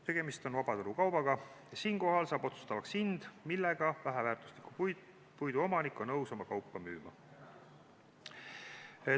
Tegemist on vabaturukaubaga ja siinkohal saab otsustavaks hind, millega väheväärtusliku puidu omanik on nõus oma kaupa müüma.